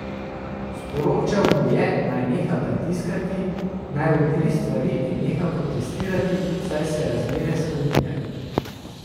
Sporočal mu je, naj neha pritiskati, naj umiri stvari in neha protestirati, saj se razmere spreminjajo.